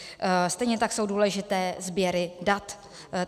Stejně tak jsou důležité sběry dat.